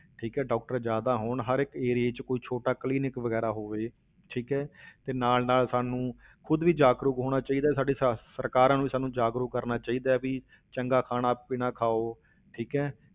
ਠੀਕ ਹੈ doctor ਜ਼ਿਆਦਾ ਹੋਣ, ਹਰ ਇੱਕ area ਵਿੱਚ ਕੋਈ ਛੋਟਾ clinic ਵਗ਼ੈਰਾ ਹੋਵੇ, ਠੀਕ ਹੈ ਤੇ ਨਾਲ ਨਾਲ ਸਾਨੂੰ ਖੁੱਦ ਵੀ ਜਾਗਰੂਕ ਹੋਣਾ ਚਾਹੀਦਾ, ਸਾਡੇ ਸ~ ਸਰਕਾਰਾਂ ਨੂੰ ਸਾਨੂੰ ਜਾਗਰੂਕ ਕਰਨਾ ਚਾਹੀਦਾ ਹੈ ਵੀ ਚੰਗਾ ਖਾਣਾ ਪੀਣਾ ਖਾਓ, ਠੀਕ ਹੈ,